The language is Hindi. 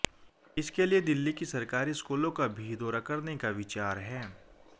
इसके लिए दिल्ली की सरकारी स्कूलों का भी दौरा करने का विचार है